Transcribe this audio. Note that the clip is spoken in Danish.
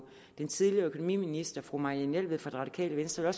den tidligere økonomiminister fru marianne jelved fra det radikale venstre